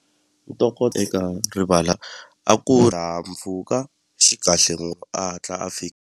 Ntokoto eka rivala a ku xi kahle no a hatla a .